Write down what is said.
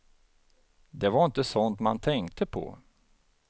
Det var inte sånt man tänkte på.